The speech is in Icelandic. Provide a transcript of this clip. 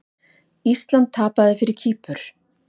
Ísland tapaði fyrir Kýpur